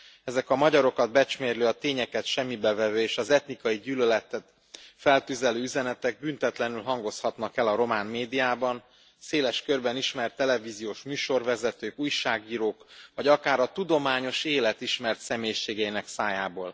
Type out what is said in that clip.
Ezek a magyarokat becsmérlő, a tényeket semmibe vevő és az etnikai gyűlöletet feltüzelő üzenetek büntetlenül hangozhatnak el a román médiában, széles körben ismert televíziós műsorvezetők, újságírók vagy akár a tudományos élet ismert személyiségeinek szájából.